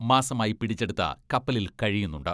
മാസമായി പിടിച്ചെടുത്ത കപ്പലിൽ കഴിയുന്നുണ്ട്.